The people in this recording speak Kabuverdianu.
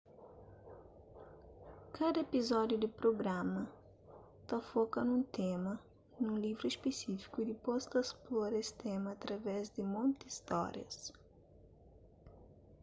kada epizódiu di prugrama ta foka nun tema nun livru spesífiku y dipôs ta splora es tema através di monti stórias